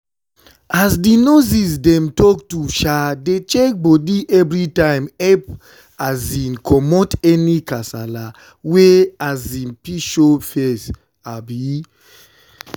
as di nurses dem talk to um dey check bodi evrytimedey epp um commot any kasala wey um fit show face